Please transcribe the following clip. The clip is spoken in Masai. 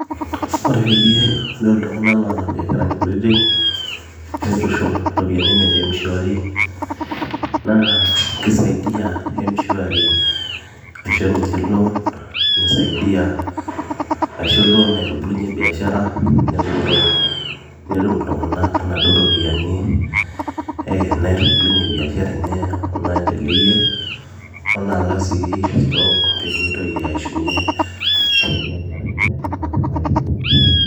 ore peyie idol iltung'anak loota imbiasharani kutitik nitushum iropiyiani enye te mshwari naa kisaidia mshwari aisho ninche loan nisaidia aisho loan naitubulunyie cs]biashara netum iltung'anak inaduo ropiyiani eh naitubulunyie biashara enye onaendeleyie onaalak sii stock peemitoki aishunye tombiasharani ashu toldukai lenye.